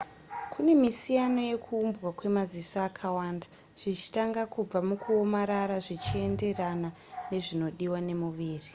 kune misiyano yekuuumbwa kwemaziso akawanda zvichitanga kubva mukuomarara zvichienderana nezvinodiwa nemuviri